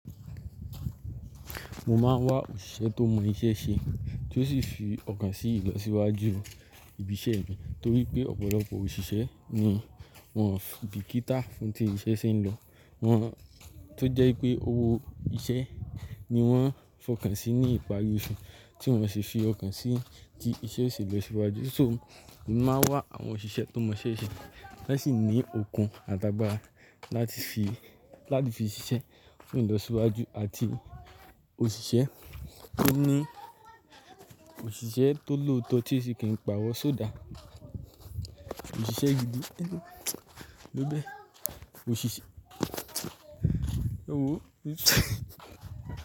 Mo máa ń wá òṣìṣẹ́ tó mọ iṣẹ́ ṣe tí ó sì fi ọkàn sí ìlọsíwájú ibi iṣẹ́ mi torí pé ọ̀pọ̀lọpọ̀ òṣìṣẹ́ ni wọ́n bìkítà fún tí iṣẹ́ ṣe ń lọ. Wọ́n, tó jẹ́ ipé owó iṣẹ́ ni wọ́n fọkàn sí ní ìparí oṣù tí wọ́n sì fi ọkàn sí tí iṣẹ́ ò ṣẹ́ lọ síwájú. So, mo máa ń wá àwọn òṣìṣẹ́ tó mọ iṣẹ́ ṣe, tan sì ní okun àtàgbàra láti fi, láti fi siṣẹ́ fún ìlọsíwájú àti òṣìṣẹ́ tó ní, òṣìṣẹ́ tó lóòtọ́ tí ẹ ṣi kì n pàrọ so that. Òṣìṣẹ́ gidi ló bẹ. Òṣìṣẹ́, ewòó.